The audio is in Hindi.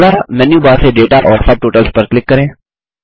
अगला मेन्यू बार से दाता और सबटोटल्स पर क्लिक करें